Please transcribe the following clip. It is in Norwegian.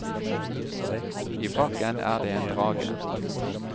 I pakken er det en drage.